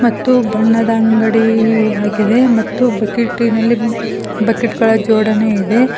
ಮತ್ತು ಬಣ್ಣದ ಅಂಗಡಿಯಲ್ಲಿ ಆಗಿದೆ ಮತ್ತು ಬಕೆಟ್ನಲ್ಲಿ ಬಕೆಟ್ ಗಳ ಜೋಡಣೆ ಇದೆ.